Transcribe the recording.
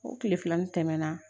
O tile filanin tɛmɛna